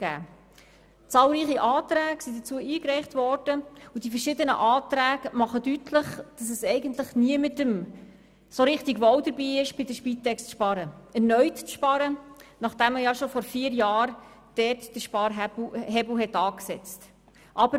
Es wurden dazu zahlreiche Anträge eingereicht, und die verschiedenen Anträge machen deutlich, dass es eigentlich niemandem so richtig wohl ist, bei der Spitex zu sparen, gar erneut zu sparen, nachdem ja dort bereits vor vier Jahren der Sparhebel angesetzt worden ist.